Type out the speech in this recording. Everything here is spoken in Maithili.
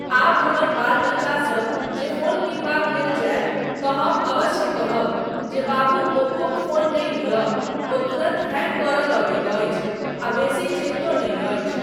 आब हमर बाल बच्चासब जे फोन किनबाक लेल जायत तँ हम अवश्य कहब जे बाबू ओप्पोक फोन नहि लिअ, ओ तुरन्त हैंग करय लगैत अछि आ बेसी चलितो नहि अछि।